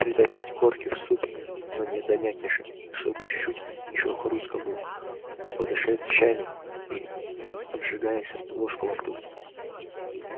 притопить корки в супе но не до мякиша а чтобы чуть-чуть ещё хрустко было подышать щами и обжигаясь ложку во рту